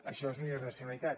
això és una irracionalitat